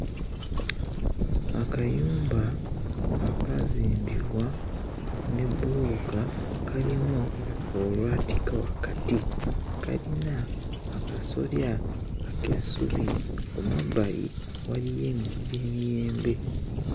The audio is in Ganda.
Akayumba akaazimbibwa ne bbulooka kalimu olwatika wakati kalina akasolya ak'essubi ku mabbali waliyo emiti gy'emiyembe.